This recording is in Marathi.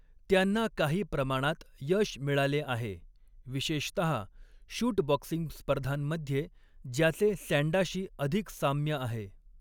त्यांना काही प्रमाणात यश मिळाले आहे, विशेषतहा शूट बॉक्सिंग स्पर्धांमध्ये, ज्याचे सँडाशी अधिक साम्य आहे.